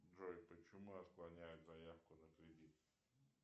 джой почему отклоняют заявку на кредит